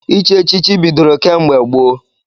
Ichi echichi bidoro kemgbe gboo.